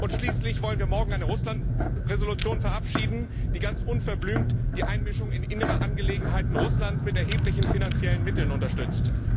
Schließlich wollen wir morgen eine Russland Entschließung verabschieden, die ganz unverblümt die Einmischung in innere Angelegenheiten Russlands mit erheblichen finanziellen Mitteln unterstützt!